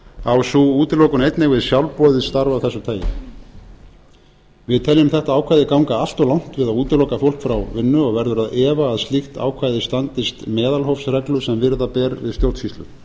á sú útilokun einnig við sjálfboðið starf af þessu tagi við teljum þetta ákvæði ganga allt of langt við að útiloka fólk frá vinnu og verður að efa að slíkt ákvæði standist meðalhófsreglu sem virða ber við stjórnsýslu